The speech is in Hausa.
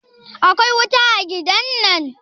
akwai wuta a gidan nan?